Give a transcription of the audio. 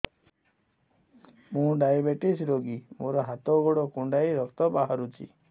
ମୁ ଡାଏବେଟିସ ରୋଗୀ ମୋର ହାତ ଗୋଡ଼ କୁଣ୍ଡାଇ ରକ୍ତ ବାହାରୁଚି